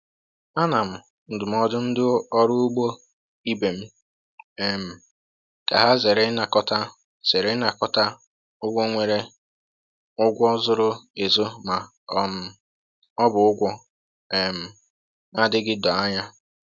A na m ndụmọdụ ndị ọrụ ugbo ibe m um ka ha zere ịnakọta zere ịnakọta ụgwọ nwere ụgwọ zoro ezo ma um ọ bụ ụgwọ um na-adịghị doo anya